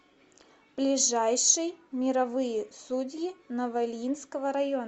ближайший мировые судьи новоильинского района